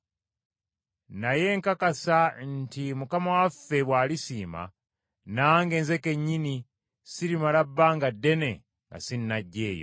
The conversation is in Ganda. Naye nkakasa nti Mukama waffe bw’alisiima, nange nze kennyini sirimala bbanga ddene nga sinnajja eyo.